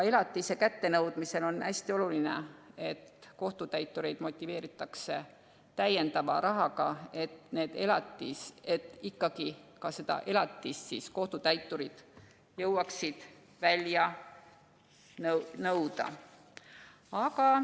Elatise kättenõudmise puhul on hästi oluline, et kohtutäitureid motiveeritaks rahaga, nii et ikkagi ka elatist jõuaksid kohtutäiturid välja nõuda.